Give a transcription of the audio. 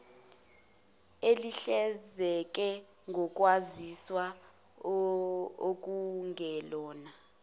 ehlinzeke ngokwaziswa okungelona